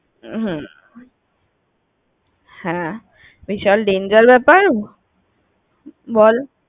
হ্যাঁ, বিশাল danger ব্যাপার। বল